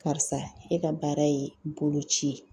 Karisa, e ka baara ye bolo ci ye.